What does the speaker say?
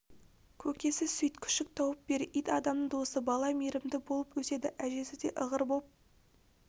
көкесі сөйт күшік тауып бер ит адамның досы бала мейірімді болып өседі әжесі де ығыр боп